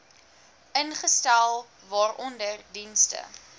ingestel waaronder dienste